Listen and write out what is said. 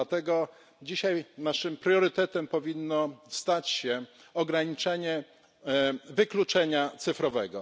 Dlatego dzisiaj naszym priorytetem powinno stać się ograniczenie wykluczenia cyfrowego.